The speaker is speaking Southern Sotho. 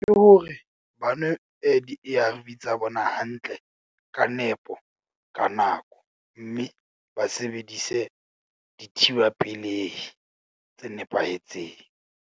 Ke hore ba nwe di-A_R_V tsa bona hantle ka nepo ka nako. Mme ba sebedise dithiba pelehi tse nepahetseng.